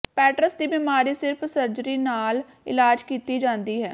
ਪੈਟਰਸ ਦੀ ਬਿਮਾਰੀ ਸਿਰਫ ਸਰਜਰੀ ਨਾਲ ਇਲਾਜ ਕੀਤੀ ਜਾਂਦੀ ਹੈ